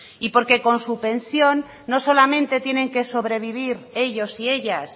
y porque con su pensión no solamente tienen que sobrevivir ellos y ellas